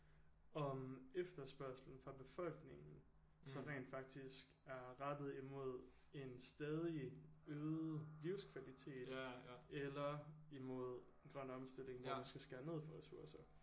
Om efterspørgslen fra befolkningen så rent faktisk er rettet imod en stadig øget livskvalitet eller imod grøn omstilling hvor man skal skære ned for ressourcer